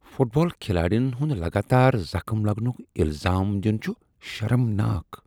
Fit بال کھلٲڑین ہنٛد لگاتار زخٕم لگنٕکۍ الزام دِنۍ چھُ شرمناک۔۔